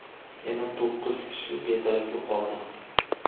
yana to‘qqiz kishi bedarak yo‘qoldi.